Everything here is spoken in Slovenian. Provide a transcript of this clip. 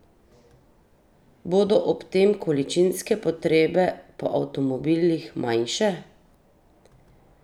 Bodo ob tem količinske potrebe po avtomobilih manjše?